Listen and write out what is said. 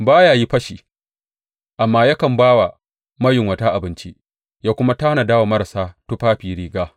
Ba ya yi fashi amma yakan ba wa mayunwata abinci ya kuma tanada wa marasa tufafi riga.